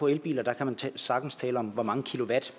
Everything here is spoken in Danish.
elbiler kan man sagtens tale om hvor mange kilowatt